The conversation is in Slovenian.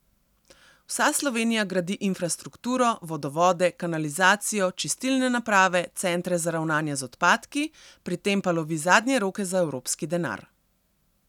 Vsa Slovenija gradi infrastrukturo, vodovode, kanalizacijo, čistilne naprave, centre za ravnanje z odpadki, pri tem pa lovi zadnje roke za evropski denar.